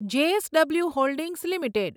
JSW holdings limited